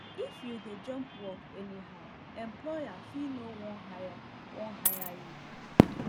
if you dey jump work anyhow employer fit no wan hire wan hire you